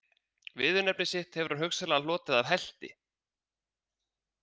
Viðurnefni sitt hefur hann hugsanlega hlotið af helti.